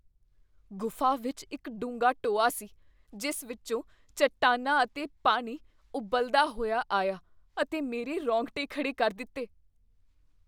ਗੁਫ਼ਾ ਵਿੱਚ ਇੱਕ ਡੂੰਘਾ ਟੋਆ ਸੀ ਜਿਸ ਵਿੱਚੋਂ ਚਟਾਨਾਂ ਅਤੇ ਪਾਣੀ ਉਬਲਦਾ ਹੋਇਆ ਆਇਆ ਅਤੇ ਮੇਰੇ ਰੌਂਗਟੇ ਖੜ੍ਹੇ ਕਰ ਦਿੱਤੇ।